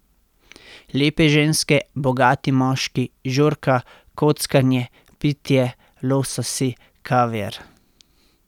Lepe ženske, bogati moški, žurka, kockanje, pitje, lososi, kaviar ...